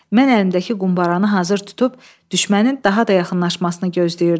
Mən əlimdəki qumbaranı hazır tutub, düşmənin daha da yaxınlaşmasını gözləyirdim.